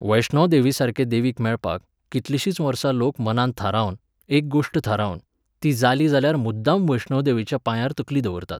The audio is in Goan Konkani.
वैष्णोदेवीसारके देवीक मेळपाक, कितलींशींच वर्सां लोक मनांत थारावन, एक गोश्ट थारावन, ती जाली जाल्यार मुद्दाम वैष्णोदेवीच्या पांयार तकली दवरतात.